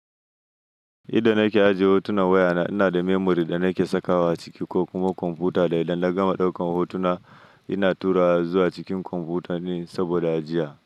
Idan nake aje hotunan wayana, ina da memory da nake sakawa ciki ko kuma kwamfuta. Da idan na gama ɗaukan hotuna, ina turawa zuwa cikin kwamfuta ne saboda ajiya.